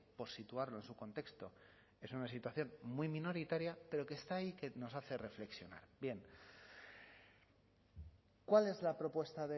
por situarlo en su contexto es una situación muy minoritaria pero que está ahí y que nos hace reflexionar bien cuál es la propuesta